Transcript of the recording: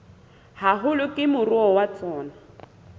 haholo ke moruo wa tsona